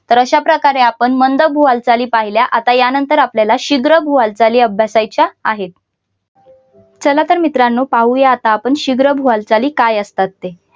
तर अशाप्रकारे आपण मंद भू हालचाली पाहिल्या आता यानंतर आपल्याला शीघ्र भू हालचाली अभ्यासाच्या आहेत चला तर मित्रांनो पाहूया आता आपण शीघ्र भू हालचाली काय असतात ते